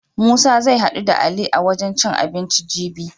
Musa zai haɗu da Ali a wajen cin abinci jibi.